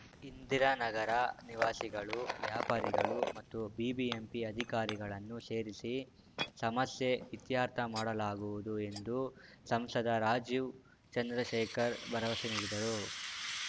ಇಂದಿರಾನಗರ ನಿವಾಸಿಗಳು ವ್ಯಾಪಾರಿಗಳು ಮತ್ತು ಬಿಬಿಎಂಪಿ ಅಧಿಕಾರಿಗಳನ್ನು ಸೇರಿಸಿ ಸಮಸ್ಯೆ ಇತ್ಯರ್ಥ ಮಾಡಲಾಗುವುದು ಎಂದು ಸಂಸದ ರಾಜೀವ್‌ ಚಂದ್ರಶೇಖರ್‌ ಭರವಸೆ ನೀಡಿದರು